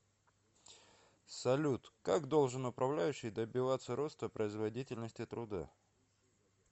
салют как должен управляющий добиваться роста производительности труда